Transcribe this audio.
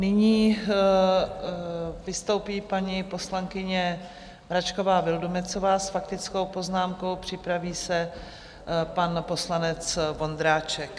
Nyní vystoupí paní poslankyně Mračková Vildumetzová s faktickou poznámkou, připraví se pan poslanec Vondráček.